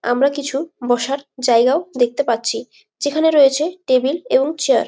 আমরা কিছু বসার জায়গাও দেখতে পাচ্ছি যেখানে রয়েছে টেবিল এবং চেয়ার ।